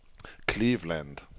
Cleveland